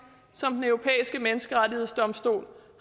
som den europæiske menneskerettighedsdomstol